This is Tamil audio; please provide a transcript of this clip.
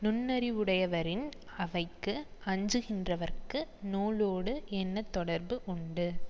நுண்ணறிவுடையவரின் அவைக்கு அஞ்சுகின்றவர்க்கு நூலோடு என்ன தொடர்பு உண்டு